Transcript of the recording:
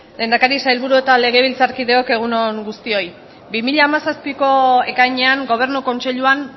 lehendakari sailburu eta legebiltzarkideok egun on guztioi bi mila hamazazpiko ekainean gobernu kontseiluan